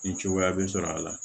Ni cogoya bɛ sɔrɔ a la